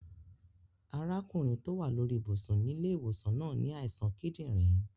Arákùnrin to wa lórí ibùsùn nílẹ́ ìwòsàn náà ni àìsàn kídìnrín